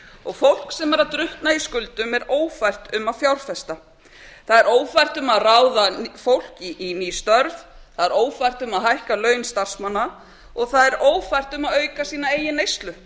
og fólk sem er að drukkna í skuldum er ófært um að fjárfesta það er ófært um að ráða fólk í ný störf það er ófært um að hækka laun starfsmanna og það er ófært um að auka sína eigin neyslu